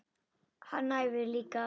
Hann æfir líka.